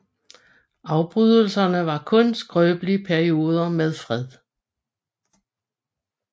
Afbrydelserne var kun skrøbelige perioder med fred